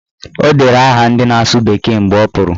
O dere aha ndị na-asụ bekee mgbe ọ pụrụ